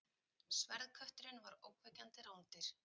Sverðkötturinn var ógnvekjandi rándýr.